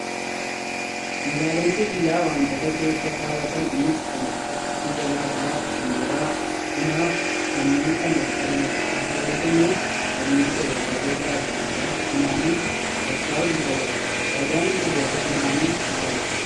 Meeshaaleen sibiilaa wantoota keessa kaawwatan isaanis kan akka ija baaqelaa, shumburaa bunaa fi kanneen kana fakkaatanidha. Meeshaaleen kunneen sanyii biqiloota gosa adda addaa funaanuun ol kaa'uuf nu fayyada. Fayidaan biqiloota funaanuu maali?